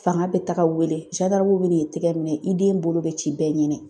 Fanga bɛ taga wele bɛ n'i tɛgɛ minɛ i den bolo bɛ ci bɛɛ ɲɛnɛ.